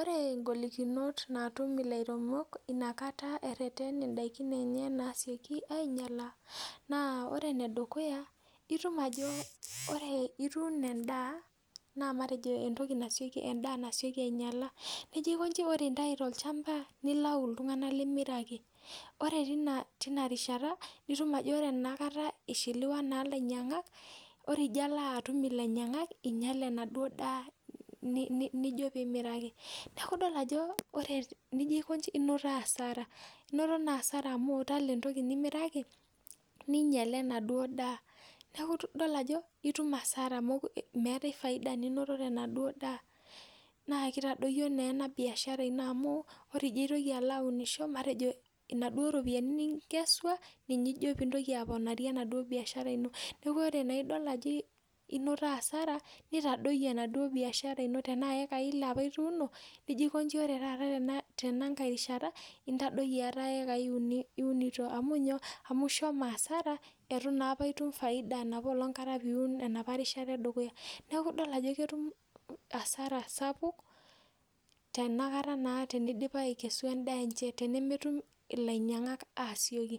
Ore ingolikinot naatum ilairemok inakata erheten in'daiki enye naasioki ainyala naa ore enedukuya naa itum ajo ore ituuno endaa naa matejo en'daa nasioki ainyala nijo aikonji ore igira aitayu tolchamba nilayu iltunganak lemeuro ake Ore tina rishata enakata naa ishiliwa naa ilainyang'ak ore ijo alo atum ilainyangak inyale enaduo daa nijo piimiraki iaku idol ajo nijo akonji inoto asara inoto naa asara amu itala entoki nimiraki ninyiale enaduo daa Niaku idol ajo itum asara meetai faida ninoto tenaduo daa naa kitadoyio naa ena biashara ino amu ore ijo aitoki alo aunisho matejo inaduo ropiani ninkeswa ninche ijo piintoki aaponarie enaduo biashara inoa. Niaku ore naa idol ajo inoto asara nitadoyio endau biashara ino tena iekai ile apana ituuno nijo aikonji taata tenakai rishata intadoyie etaa iekai uni iturito amu ishomo asara etu naa apa itum faida enopoplong kata enopa rishata edukuya neeku idol ajo ketum asara sapuk tenakata naa teneidip aikesu en'daa enche tenakata naa tenemetum ilainyang'ak aasioki